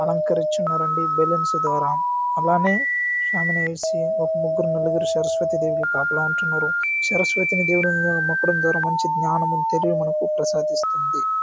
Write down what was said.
అలంకరించి ఉన్నారండి బెలూన్స్ ద్వారా అలానే షామీన వేసి ఒక ముగ్గురు నలుగురు సరస్వతి దేవికి కాపలా ఉంటున్నారు. సరస్వతి దేవి మంచి జ్ఞానము తెలివి మనకు ప్రసాదిస్తుంది.